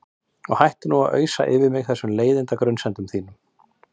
Og hættu nú að ausa yfir mig þessum leiðinda grunsemdum þínum.